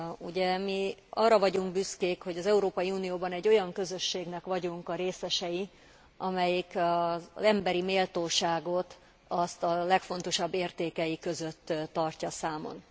Ugye mi arra vagyunk büszkék, hogy az Európai Unióban egy olyan közösségnek vagyunk a részesei, amelyik az emberi méltóságot a legfontosabb értékei között tartja számon.